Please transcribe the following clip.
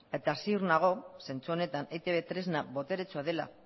eta ziur nago zentzu honetan eitb tresna boteretsua dela